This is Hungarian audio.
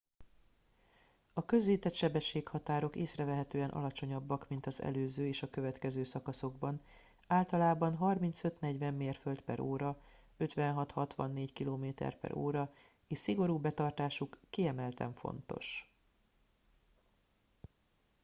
a közzétett sebességhatárok észrevehetően alacsonyabbak mint az előző és a következő szakaszokban — általában 35–40 mérföld/h 56–64 km/h — és szigorú betartásuk kiemelten fontos